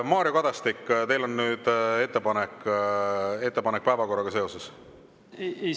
Mario Kadastik, teil on nüüd ettepanek päevakorra kohta?